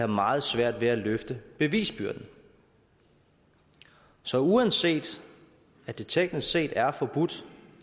meget svært ved at løfte bevisbyrden så uanset at det teknisk set er forbudt